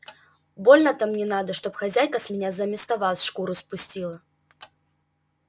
больно-то мне надо чтоб хозяйка с меня заместо вас шкуру спустила